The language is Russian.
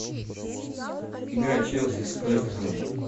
игра челси с вест хэмом